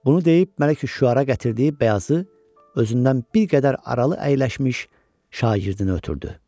Bunu deyib Məliküşşüəra gətirdiyi bəyazı özündən bir qədər aralı əyləşmiş şagirdinə ötürdü.